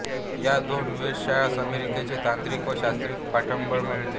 या दोन्ही वेधशाळांस अमेरिकेचे तांत्रिक व शास्त्रीय पाठबळ मिळाले